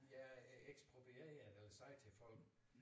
Ja ekspropriere eller sige til folk